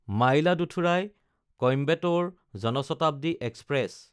মাইলাদুথুৰাই–কইম্বেটৰ Jan Shatabdi express